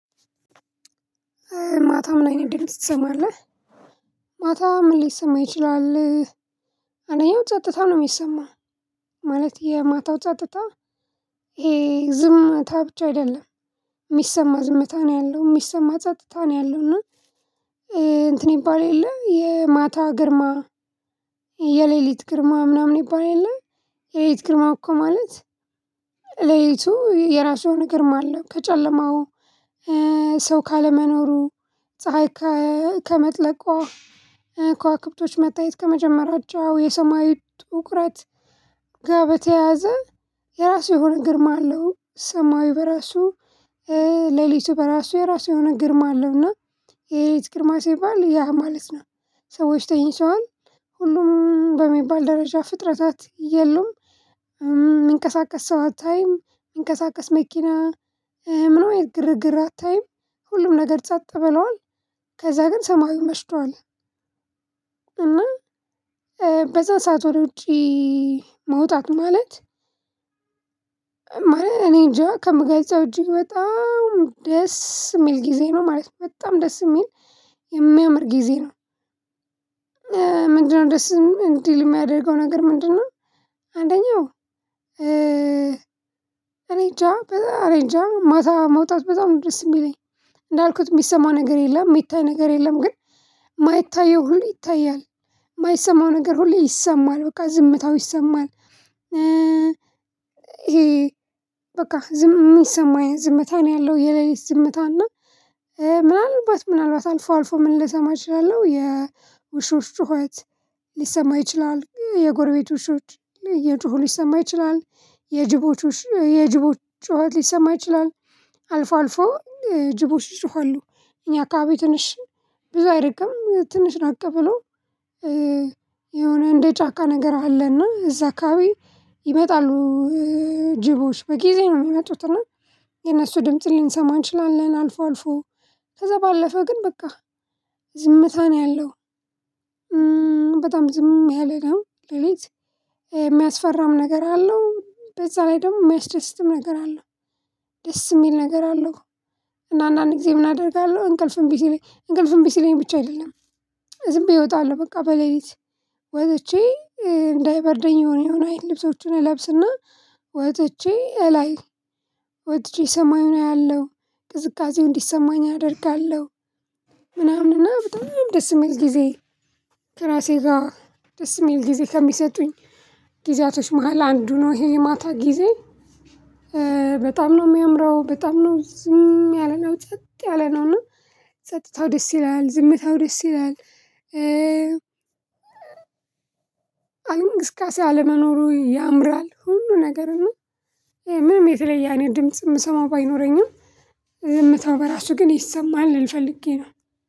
ማታ ምን አይነት ድምጽ ትሰማለህ? ማታ ምን ሊሰማ ይችላል አንደኛው ጸጥታ ነው የሚሰማው ማለት የማታው ጸጥታ ይሄ ዝምታ ብቻ አይደለም የሚሰማ ዝምታ ነው ያለው የሚሰማ ጸጥታ ነው ያለው እና እንትን ይባል የለ የማታ ግርማ የሌሊት ግርማ ምናምን ይባል የለ የሌሊት ግርማ እኮ ማለት ሌሊቱ የራሱ የሆነ ግርማ አለው ከጨለማው ሰው ካለመኖሩ ፀሀይ ከ ከመጥለቋ ከዋክብቶች መታየት ከመጀመራቸው የሰማዩ ጥቁረት ጋ በተያያዘ የራሱ የሆነ ግርማ አለው። ሰማዩ በራሱ ሌሊቱ በራሱ የራሱ የሆነ ግርማ አለውና የሌሊት ግርማ ሲባል ያ ማለት ነው ሰዎች ተኝተዋል ሁሉም በሚባል ደረጃ ፍጥረታት የሉም። እሚንቀሳቀስ ሰው አታይም እሚንቀሳቀስ መኪና ምንም አይነት ግርግር አታይም። ሁሉም ነገር ጸጥ ብሏል ከዛ ግን ሰማዩም መሽቷል እና በዛ ሰዓት ወደ ውጪ መውጣቱ ማለት ማለት እኔንጃ ከምገልፀው እጅግ በጣም ደስ የሚል ጊዜ ነው ማለት በጣም ደስ የሚል የሚያምር ጊዜ ነው ምንድነው ደስ እንዲል የሚያደርገው ነገር ምንድነው አንደኛው እ እኔንጃ እኔንጃ ማታ መውጣት በጣም ደስ የሚለኝ እንዳልኩት የሚሰማ ነገር የለም የሚታይ ነገር የለም ግን የማይታየው ሁሌ ይታያል የማይሰማው ነገር ሁሌ ይሰማል በቃ ዝምታው ይሰማል ይሄ በቃ ዝም የሚሰማ ዝምታ ነው ያለው የሌሊት ዝምታ እና ምናልባት ምናልባት አልፎ አልፎ ምን ልሰማ እችላለሁ የውሾች ጩኸት ሊሰማ ይችላል የጎረቤት ውሾች እየጮሁ ሊሰማ ይችላል የጅቦች ጩኸት ሊሰማ ይችላል አልፎ አልፎ ጅቦች ይጮሀሉ እኛ አካባቢ ትንሽ ብዙ አይርቅም ትንሽ ራቅ ብሎ የሆነ እንደ ጫካ ነገር አለና እዛ አካባቢ ይመጣሉ ጅቦች በጊዜ ነው የሚመጡትና የነሱ ድምጽ ልንሰማ እንችላለን አልፎ አልፎ ከዛ ባለፈ ግን በቃ ዝምታ ነው ያለው በጣም ዝም ያለ ነው ሌሊት የሚያስፈራም ነገር አለው በዛ ላይ ደግሞ የሚያስደስትም ነገር አለው ደስ የሚል ነገር አለው እና አንዳንድ ጊዜ ምን አደርጋለሁ እንቅልፍም እንቢ ሲለኝ እንቅልፍ እንቢ ሲለኝ ብቻ አይደለም ዝም ብዬ እወጣለሁ በቃ በሌሊት ወጥቼ እንዳይበርደኝ የሆነ የሆነ አይነት ልብሶችን እለብስና ወጥቼ እላይ ወጥቼ ሰማዩን አያለሁ ቅዝቃዜው እንዲሰማኝ አደርጋለሁ ምናምንና በጣም ደስ የሚል ጊዜ ከራሴ ጋር ደስ የሚል ጊዜ ከሚሰጡኝ ጊዜያቶች መሃል አንዱ ነው ይሄ የማታ ጊዜ በጣም ነው የሚያምረው በጣም ነው ዝም ያለ ነው ጸጥ ያለ ነው እና ጸጥታው ደስ ይላል ዝምተው ደስ ይላል አለም እንቅስቃሴ አለመኖሩ ያምራል ሁሉ ነገር እና ይሄ ምንም የተለየ አይነት ድምጽ የምሰማው ባይኖረኝም ዝምታው በራሱ ግን ይሰማል ልል ፈልጌ ነው